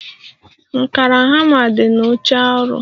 Nkàrà hama di na oche ọrụ